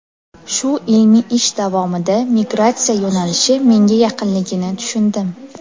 Shu ilmiy ish davomida migratsiya yo‘nalishi menga yaqinligini tushundim.